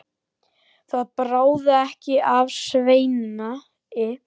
Það bráði ekki af Sveini.